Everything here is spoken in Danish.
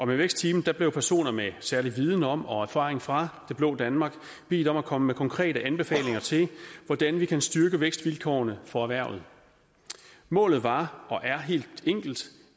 vækstteamet blev personer med særlig viden om og erfaring fra det blå danmark bedt om at komme med konkrete anbefalinger til hvordan vi kan styrke vækstvilkårene for erhvervet målet var og er helt enkelt